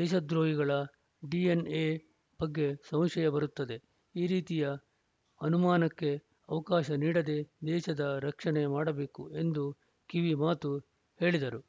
ದೇಶದ್ರೋಹಿಗಳ DNA ಬಗ್ಗೆ ಸಂಶಯ ಬರುತ್ತದೆ ಈ ರೀತಿಯ ಅನುಮಾನಕ್ಕೆ ಅವಕಾಶ ನೀಡದೆ ದೇಶದ ರಕ್ಷಣೆ ಮಾಡಬೇಕು ಎಂದು ಕಿವಿ ಮಾತು ಹೇಳಿದರು